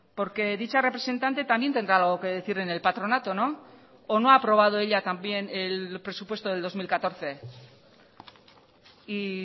porque dicha representante también tendrá algo que decir en el patronato o no ha aprobado ella también el presupuesto del dos mil catorce y